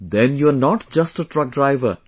Then you are not just a truck driver